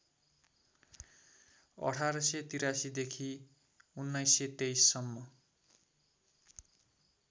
१८८३ देखि १९२३ सम्म